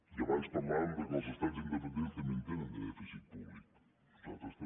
i abans parlàvem que els estats independents també en tenen de dèficit públic nosaltres també